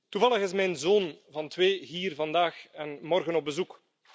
Toevallig is mijn zoon van twee hier vandaag en morgen op bezoek.